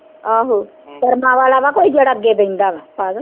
ਆਹ ਕਰਮਾਂ ਵਾਲਾ ਵਾਂ ਜਿਹੜਾ ਕੋਈ ਅੱਗੇ ਬਹਿੰਦਾ ਵਾਂ ਪਾਗਲ